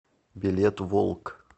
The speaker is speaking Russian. билет волк